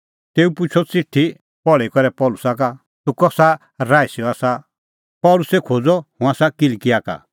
तेऊ पुछ़अ च़िठी पहल़ी करै पल़सी का तूह कसा राईसी का आसा पल़सी खोज़अ हुंह आसा किलकिआ का